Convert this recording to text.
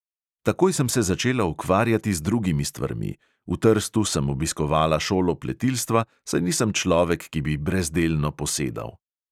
Takoj sem se začela ukvarjati z drugimi stvarmi; v trstu sem obiskovala šolo pletilstva, saj nisem človek, ki bi brezdelno posedal.